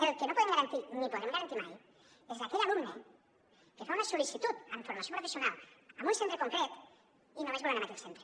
el que no podem garantir ni podrem garantir mai és aquell alumne que fa una sol·licitud en formació professional en un centre concret i només vol anar en aquell centre